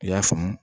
I y'a faamu